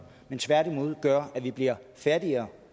men tværtimod gør at vi bliver fattigere